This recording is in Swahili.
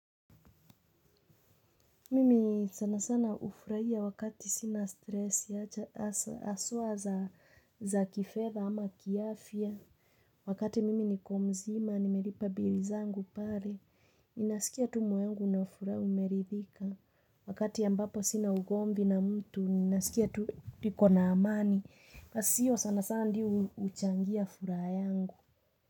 Mimi sanasana ufurahia wakati sina stresi, haswa za kifedha ama kiafya. Wakati mimi niko mzima, nimelipa bili zangu pale. Naskia tu moyo wangu una furaha umeridhika. Wakati ambapo sina ugomvi na mtu, naskia tu nikona amani. Pasio sanasana ndio huchangia furaha yangu.